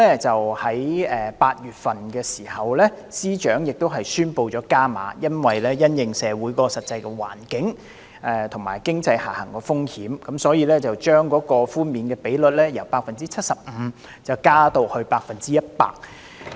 在8月的時候，司長宣布加碼，因為要因應社會的實際環境，以及經濟下行風險，所以將寬免比率由 75% 提高至 100%。